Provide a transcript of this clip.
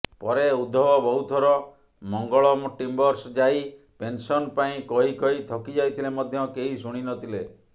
ପରେ ଉଦ୍ଧବ ବହୁଥର ମଙ୍ଗଳମ ଟିମ୍ବର୍ସ ଯାଇ ପେନସନ ପାଇଁ କହିକହି ଥକି ଯାଇଥିଲେ ମଧ୍ୟ କେହି ଶୁଣିନଥିଲେ